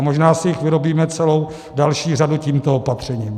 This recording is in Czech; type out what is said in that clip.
A možná si jich vyrobíme celou další řadu tímto opatřením.